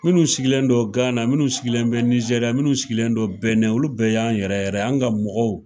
Munnu sigilen don Gana munnu sigilen bɛ Nizɛri munnu sigilen don Bɛnɛn olu bɛɛ y'an yɛrɛ yɛrɛ ye. An ka mɔgɔw.